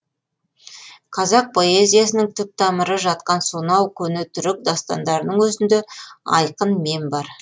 қазақ поэзиясының түп тамыры жатқан сонау көне түрік дастандарының өзінде айқын мен бар